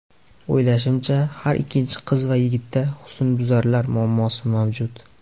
O‘ylashimcha, har ikkinchi qiz va yigitda husnbuzarlar muammosi mavjud.